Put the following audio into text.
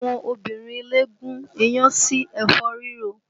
Àwọn obìnrin ilé gún iyán sí ẹ̀fọ́ rírò